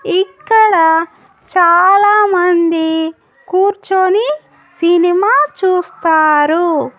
ఇక్కడ చాలా మంది కూర్చొని సినిమా చూస్తారు.